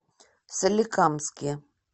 соликамске